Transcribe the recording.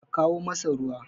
a kawo masa ruwa!